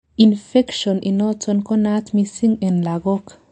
infection initon konaat missing en lagok